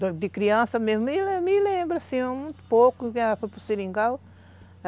De de criança mesmo, me me lembro sim, muito pouco que ela foi para o Seringal.